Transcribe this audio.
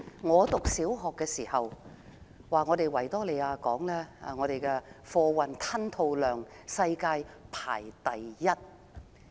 我唸小學的時候，維多利亞港的貨運吞吐量世界排名第一。